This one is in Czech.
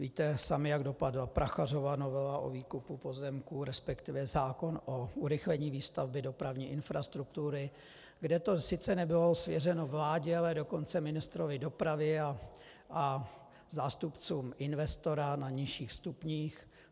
Víte sami, jak dopadla Prachařova novela o výkupu pozemků, respektive zákon o urychlení výstavby dopravní infrastruktury, kde to sice nebylo svěřeno vládě, ale dokonce ministru dopravy a zástupcům investora na nižších stupních.